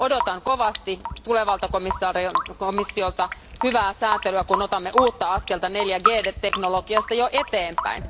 Odotan kovasti tulevalta komissiolta hyvää säätelyä, kun otamme uutta askelta 4G teknologiasta jo eteenpäin.